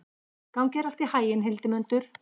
Gangi þér allt í haginn, Hildimundur.